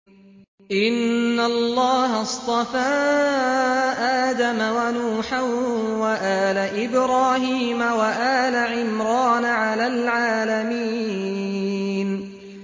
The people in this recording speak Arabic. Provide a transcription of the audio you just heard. ۞ إِنَّ اللَّهَ اصْطَفَىٰ آدَمَ وَنُوحًا وَآلَ إِبْرَاهِيمَ وَآلَ عِمْرَانَ عَلَى الْعَالَمِينَ